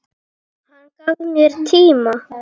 Hann gaf mér tíma.